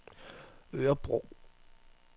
Örebro